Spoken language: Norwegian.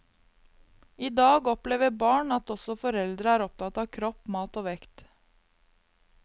I dag opplever barn at også foreldrene er opptatt av kropp, mat og vekt.